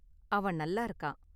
அவன் நல்லா இருக்கான்.